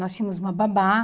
Nós tínhamos uma babá.